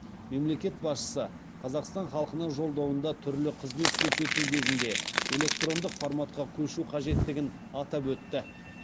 мемлекет басшысы қазақстан халқына жолдауында түрлі қызмет көрсету кезінде электрондық форматқа көшу қажеттігін атап өтті